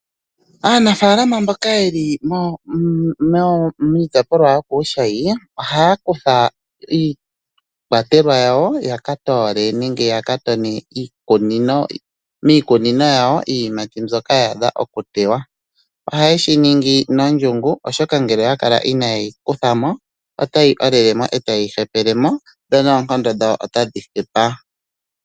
Aanafaalama mboka yeli miitopolwa yokuushayi ohaya kutha iikwatelwa yawo yaka toole nenge yaka tone miikunino yawo iiyimati mbyoka yaadha okutewa. Ohaye shi ningi nondjungu oshoka ngele oya kala ina ye yi kutha mo ota yi olele mo etayi tekelemo dho noonkondo dhawo otadhi hepa.